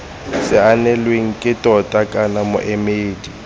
saenilweng ke tona kana moemedi